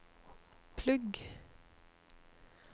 plugg